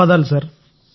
ధన్యవాదాలు సార్